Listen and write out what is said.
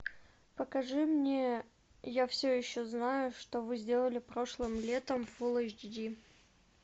покажи мне я все еще знаю что вы сделали прошлым летом фулл эйч ди